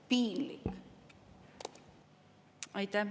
Piinlik!